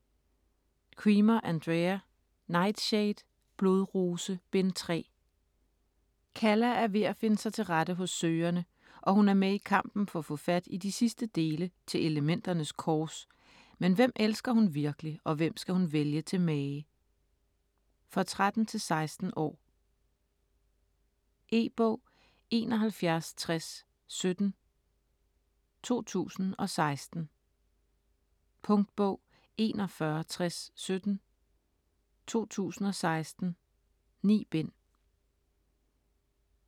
Cremer, Andrea: Nightshade: Blodrose: Bind 3 Calla er ved at finde sig til rette hos Søgerne og hun er med i kampen for at få fat i de sidste dele til Elementernes Kors, men hvem elsker hun virkelig og hvem skal hun vælge til mage. For 13-16 år. E-bog 716017 2016. Punktbog 416017 2016. 9 bind.